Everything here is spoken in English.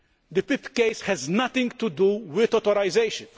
The PIP case has nothing to do with authorisation.